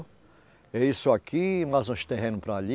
É isso aqui, mais uns terrenos para ali.